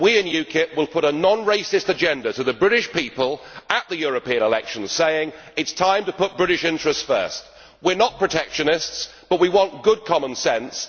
We in UKIP will put a non racist agenda to the British people at the European elections, saying that it is time to put British interests first. We are not protectionists, but we want good common sense.